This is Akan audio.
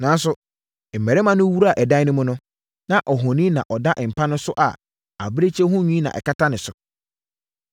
Nanso, mmarima no wuraa ɛdan no mu no, na ohoni na ɔda mpa no so a abirekyie ho nwi na ɛkata so.